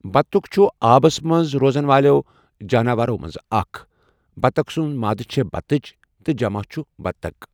بَطُخ چھُ آبس منز روزَن والیٚو جاناوارو منٛزٕ اکھ ۔ بَطَخ سُند مادٕ چھےٚ بَطٕچ تہٕ جَمَع چھُ بَطَخ